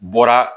Bɔra